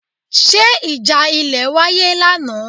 Ṣé ìjà ilẹ̀ wáyé lánàá?